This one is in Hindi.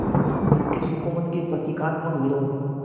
ब्रिटिश हुकूमत के प्रतीकात्मक विरोध